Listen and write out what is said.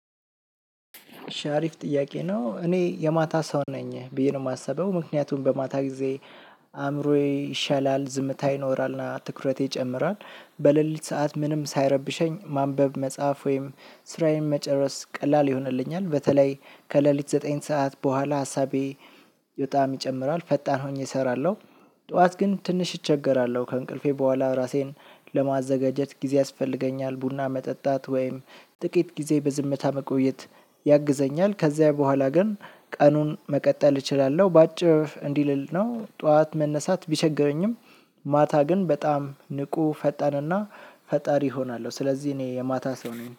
እሺ አሪፍ ጥያቄ ነው እኔ የማታ ሰው ነኝ ብዬ ነው የማስበው ምክንያቱም በማታ ጊዜ አእምሮዬ ይሻላል ዝምታ ይኖራልና ትኩረቴ ይጨምራል። በሌሊት ሰዓት ምንም ሳይረብሸኝ ማንበብ መጻፍ ወይም ስራዬን መጨረስ ቀላል ይሆንልኛል በተለይ ከሌሊት ዘጠኝ ሰዓት በኋላ ሀሳቤ በጣም ይጨምራል ፈጣን ሆኜ እሰራለሁ። ጠዋት ግን ትንሽ እቸገራለሁ ከእንቅልፌ በኋላ ራሴን ለማዘጋጀት ጊዜ ያስፈልገኛል ቡና መጠጣት ወይም ጥቂት ጊዜ በዝምታ መቆየት ያግዘኛል። ከዚያ በኋላ ግን ቀኑን መቀጠል እችላለሁ። በአጭር እንዲልል ነው ጠዋት መነሳት ቢቸገረኝም ማታ ግን በጣም ንቁ ፈጣንና ፈጣሪ እሆናለሁ። ስለዚህ እኔ የማታ ሰው ነኝ